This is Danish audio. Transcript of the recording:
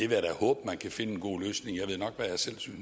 vil da håbe at man kan finde en god løsning jeg ved nok hvad